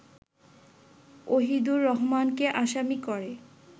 ওহিদুর রহমানকে আসামি করে